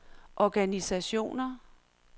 organisationer